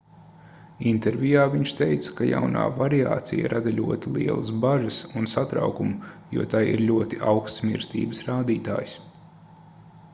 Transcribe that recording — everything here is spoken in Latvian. intervijā viņš teica ka jaunā variācija rada ļoti lielas bažas un satraukumu jo tai ir ļoti augsts mirstības rādītājs